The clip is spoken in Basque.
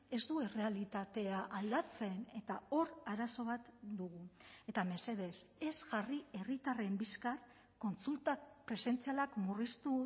ez du errealitatea aldatzen eta hor arazo bat dugu eta mesedez ez jarri herritarren bizkar kontsulta presentzialak murriztu